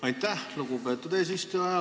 Aitäh, lugupeetud eesistuja!